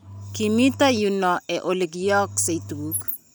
kimito yu noe ole kiyaaksae tuguk